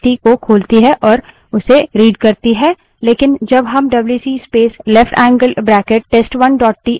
लेकिन जब हम WC space left angle bracket space test1 dot TXT wc space leftangled bracket test1 txt लिखते हैं डब्ल्यूसी तब भी किसी file को नहीं खोलता है